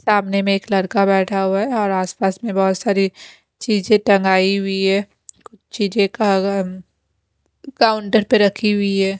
सामने में एक लड़का बैठा हुआ है और आस पास में बहोत सारी चीजे टांगाइ हुई है कुछ चीजे का काउंटर पे रखी हुई है।